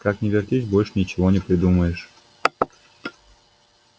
как ни вертись больше ничего не придумаешь